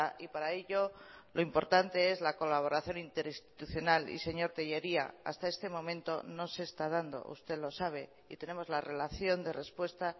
y para ello lo importante es la colaboración interinstitucional y señor tellería hasta este momento no se está dando usted lo sabe y tenemos la relación de respuesta